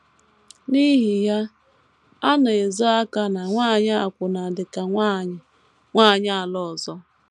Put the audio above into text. N’ihi ya, a na - ezo aka na nwanyị akwụna dị ka “ nwanyị “ nwanyị ala ọzọ. ”